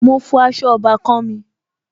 Mo fọ aṣọ ọbàkan-àn mi